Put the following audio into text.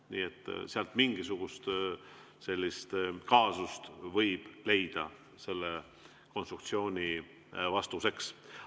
Nii et mingisuguse sellise kaasuse võib leida sellele konstruktsioonile vastuseks.